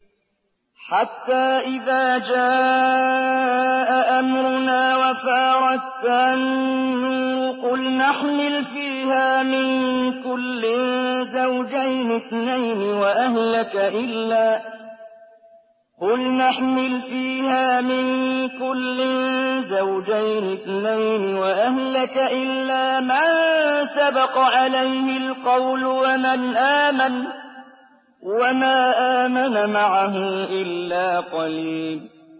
حَتَّىٰ إِذَا جَاءَ أَمْرُنَا وَفَارَ التَّنُّورُ قُلْنَا احْمِلْ فِيهَا مِن كُلٍّ زَوْجَيْنِ اثْنَيْنِ وَأَهْلَكَ إِلَّا مَن سَبَقَ عَلَيْهِ الْقَوْلُ وَمَنْ آمَنَ ۚ وَمَا آمَنَ مَعَهُ إِلَّا قَلِيلٌ